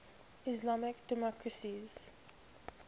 islamic democracies